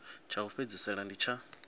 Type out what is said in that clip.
tsha u fhedzisela ndi tsha